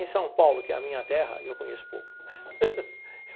Em São Paulo, que é a minha terra, eu conheço pouco.